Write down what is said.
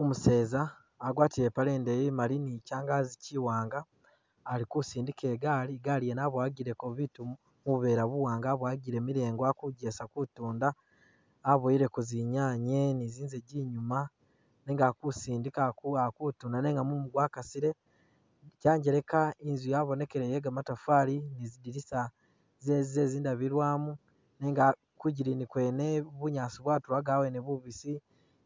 Umuseza agwatile ipaale indeyi imali ni kyangazi kiwaanga ali kusindika igaali, igaali yene aboyagileko bitu mu mu buveera buwaanga aboyagile milengo ali kugesa kutuunda. Aboyileko zinyaanye ni zinzagi inyuma nenga ali kusindika ali kuwa ali kutuunda nenga mumu gwakasile. Kyangeleka inzu yabonekile ye gamatafali ni zi dilisa ze ze zindabilwamu nenga kwidigini kwene bunyaasi bwatulaga abweene bubisi